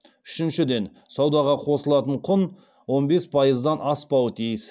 үшіншіден саудаға қосылатын құн он бес пайыздан аспауы тиіс